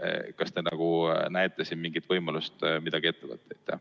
Kas te näete siin mingit võimalust midagi ette võtta?